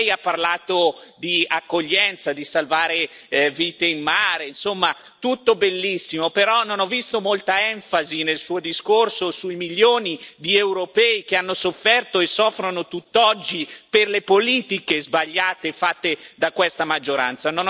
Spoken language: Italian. Ecco Lei ha parlato di accoglienza, di salvare vite in mare, insomma, tutto bellissimo, però non ho visto molta enfasi nel Suo discorso sui milioni di europei che hanno sofferto e soffrono tutt'oggi per le politiche sbagliate fatte da questa maggioranza.